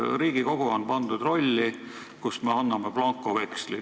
Riigikogu on pandud rolli, kus me anname blankoveksli.